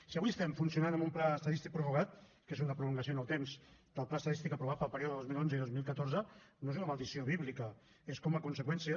si avui estem funcionant amb un pla estadístic prorrogat que és una prolongació en el temps del pla estadístic aprovat per al període dos mil onze i dos mil catorze no és una maledicció bíblica és com a conseqüència